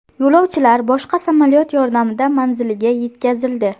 Yo‘lovchilar boshqa samolyot yordamida manziliga yetkazildi.